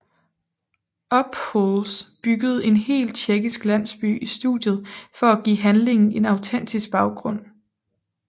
Ophüls byggede en hel tjekkisk landsby i studiet for at give handlingen en autentisk baggrund